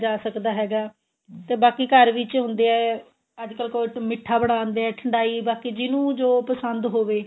ਜਾ ਸਕਦਾ ਹੈਗਾ ਤੇ ਬਾਕੀ ਘਰ ਵਿੱਚ ਹੁੰਦੀਆਂ ਅੱਜਕਲ ਕੋਈ ਮਿੱਠਾ ਬਣਾਦੇ ਆ ਠੰਡਾਈ ਬਾਕੀ ਜਿਨੂੰ ਜੋ ਪਸੰਦ ਹੋਵੇ